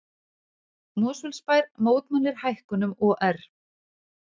Mosfellsbær mótmælir hækkunum OR